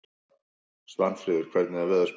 Svanfríður, hvernig er veðurspáin?